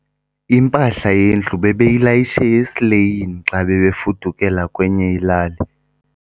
Impahla yendlu bebeyilayishe esileyini xa bebefudukela kwenye ilali.